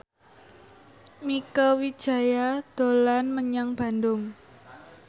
Mieke Wijaya dolan menyang Bandung